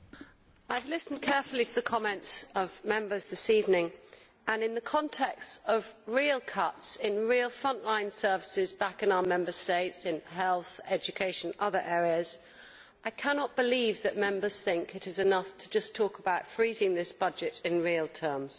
Mr President, I have listened carefully to the comments of Members this evening and, in the context of real cuts in real front line services back in our Member States, in health, education and other areas, I cannot believe that Members think it is enough just to talk about freezing this budget in real terms.